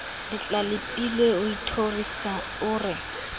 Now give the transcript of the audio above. letlalepepilwe o ithorisa o re